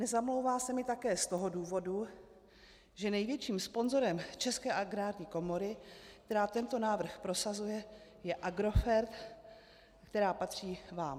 Nezamlouvá se mi také z toho důvodu, že největším sponzorem české Agrární komory, která tento návrh prosazuje, je Agrofert, který patří vám.